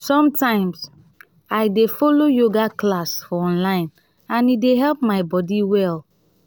sometimes i dey follow yoga class for online and e dey help my body well.